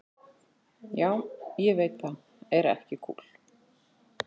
Já, ég veit það er ekki kúl.